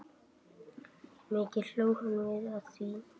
Mikið hlógum við að því.